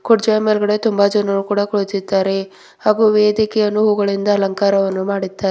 ಕುರ್ಚಿಯ ಮೇಲ್ಗಡೆ ತುಂಬಾ ಜನರು ಕೂಡ ಕುಳಿತಿದ್ದಾರೆ ಹಾಗು ವೇಧಿಕೆಯನ್ನು ಹೂಗಳಿಂದ ಅಲಂಕಾರವನ್ನು ಮಾಡಿದ್ದಾ--